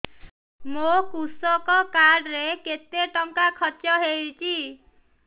ମୋ କୃଷକ କାର୍ଡ ରେ କେତେ ଟଙ୍କା ଖର୍ଚ୍ଚ ହେଇଚି